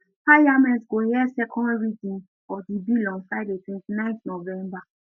parliament go hear second reading of di bill on friday 29 november